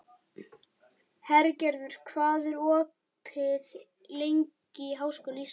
Hergerður, hvað er opið lengi í Háskóla Íslands?